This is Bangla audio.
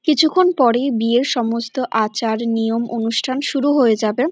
কিছুক্ষণ পরেই বিয়ের সমস্ত আচার নিয়ম অনুষ্ঠান শুরু হয়ে যাবে ।